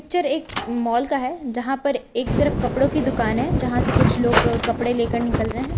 Picture एक mall का है जहां पर एक तरफ कपड़ों की दुकान है जहां से कुछ लोग कपड़े लेकर निकल रहे हैं।